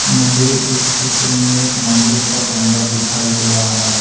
मुझे इस चित्र में एक मंदिर का गुंबद दिखाई दे रहा है।